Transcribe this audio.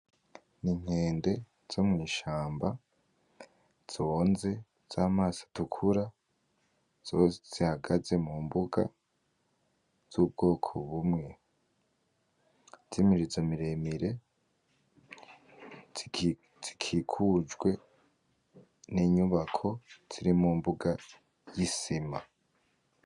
Ni inkende zo mw'ishamba zonze z'amaso atukura, zose zihagaze mu mbuga z'ubwoko bumwe z'imirizo miremire zikikujwe n'inyubako ziri mu mbuga y'isima.